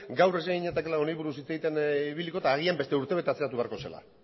gaur ez ginatekeela honi buruz hitz egiten ibiliko eta agian beste urtebete atzeratu beharko zela